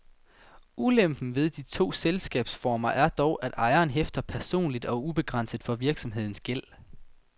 Ulempen ved de to selskabsformer er dog, at ejeren hæfter personligt og ubegrænset for virksomhedens gæld.